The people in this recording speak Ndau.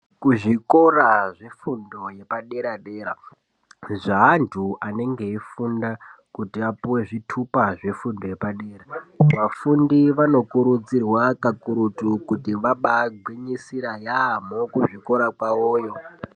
Kuzvikora zvefundo yepadera dera zveantu anenge eifunda kuti apuwe zvitupa zvefundo yepadera vafundi vanokurudzirwa kakurutu kuti vabaagwinyisira yaamho kuzvikora kwavoyo.